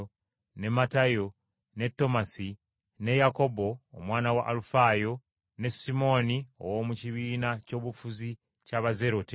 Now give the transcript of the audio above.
ne Matayo, ne Tomasi, ne Yakobo, omwana wa Alufaayo, ne Simooni, ow’omu kibiina ky’obufuzi eky’Abazerote,